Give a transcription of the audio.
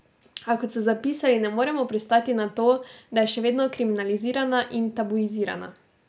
A, kot so zapisali, ne moremo pristati na to, da je še vedno kriminalizirana in tabuizirana.